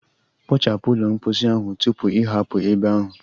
Kpochapu ụlọ mposi ahụ tupu ị hapụ ebe ahụ.